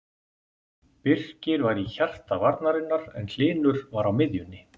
Birkir var í hjarta varnarinnar en Hlynur var á miðjunni.